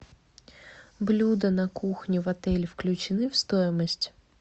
блюда на кухне в отеле включены в стоимость